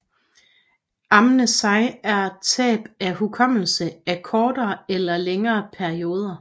Amnesi er tab af hukommelse af kortere eller længere perioder